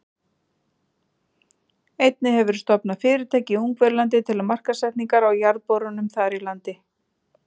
Einnig hefur verið stofnað fyrirtæki í Ungverjalandi til markaðssetningar á jarðborunum þar í landi.